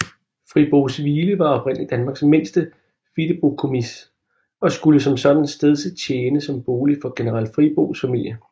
Frieboeshvile var oprindelig Danmarks mindste fideikommis og skulle som sådan stedse tjene som bolig for general Frieboes familie